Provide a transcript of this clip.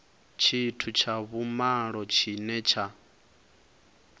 tshithu tsha vhumalo tshine tsha